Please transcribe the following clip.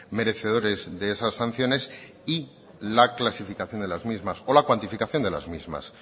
merecedores de esas sanciones y la clasificación de las mismas o la cuantificación de las mismas